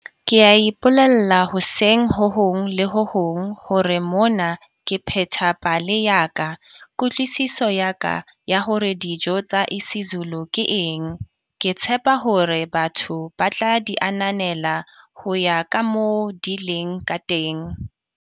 Ke a ipolella hoseng ho hong le ho hong hore mona ke pheta pale ya ka, kutlwisiso ya ka ya hore dijo tsa isiZulu ke eng. Ke tshepa hore batho batla di ananela ho ya kamoo di leng kateng.